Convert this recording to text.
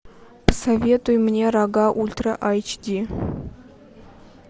посоветуй мне рога ультра эйч ди